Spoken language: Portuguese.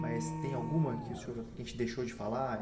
Mas tem alguma que o senhor, que a gente deixou de falar?